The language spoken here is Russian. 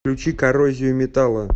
включи коррозию металла